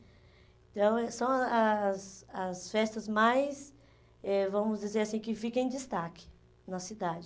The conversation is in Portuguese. Então, é são as as festas mais, eh vamos dizer assim, que ficam em destaque na cidade.